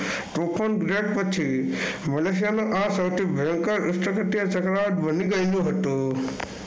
પછી મલેશિયાના આ સૌથી ભયંકર ચક્રવાત બની ગયેલું હતું.